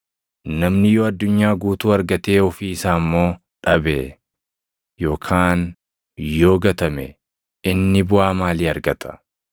Namni yoo addunyaa guutuu argatee ofii isaa immoo dhabe yookaan yoo gatame inni buʼaa maalii argata?